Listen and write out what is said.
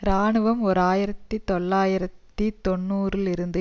இராணுவம் ஓர் ஆயிரத்தி தொள்ளாயிரத்தி தொன்னூறு இருந்து